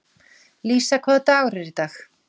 Lísa, hvaða dagur er í dag?